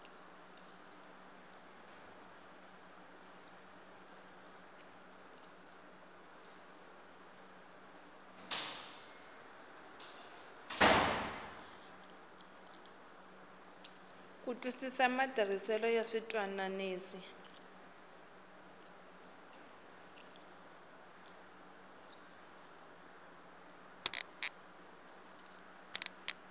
ku twisisa matirhisele ya switwananisi